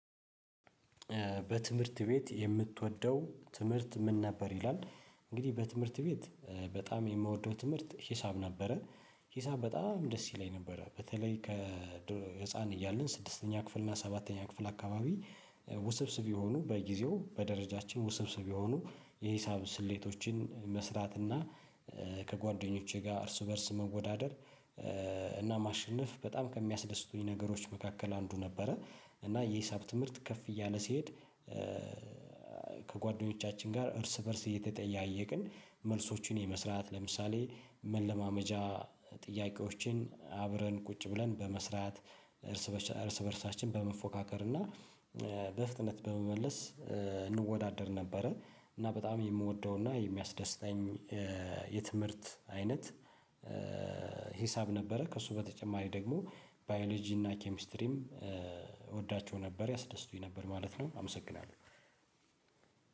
በትምህርት ቤት የምትወደው ትምህርት ምን ነበር ይላል? እንግዲህ በትምህርት ቤት በጣም የምወደው ትምህርት ሂሳብ ነበረ። ሂሳብ በጣም ደስ ይለኝ ነበረ በተለይ ከ ህፃን እያለሁ ስድስተኛ ክፍል እና ሰባተኛ ክፍል አካባቢ ውብስብ የሆኑ በጊዜው በደረጃችን ውብስብ የሆኑ የሂሳብ ስሌቶችን መስራት እና ከጓደኞቼ ጋር እርስ በእርስ መወዳደር እና ማሸነፍ በጣም ከሚያስደስቱኝ ነገሮች መካከል አንዱ ነበረ። እና የሂሳብ ትምህርት ከፍ እያለ ሲሄድ ከጓደኞቻችን ጋር እርስ በእርስ እየተጠያየቅን መልሶቹን የመስራት ለምሳሌ መለማመጃ ጥያቄዎችን አብረን ቁጭ ብለን በመስራት እርስ በእርሳችን በመፎካከር እና በፍጥነት በመመለስ እንወዳደር ነበረ እና በጣም የምወደው እና የሚያስደስተኝ የትምህርት አይነት ሂሳብ ነበረ። ከእሱ በተጨማሪ ደግሞ ባዮሎጂ እና ኬሚስትሪም እወዳቸው ነበረ ያደስቱኝ ነበረ ማለት ነው አመሰግናለሁ።